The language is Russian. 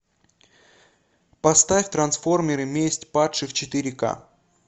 поставь трансформеры месть падших четыре ка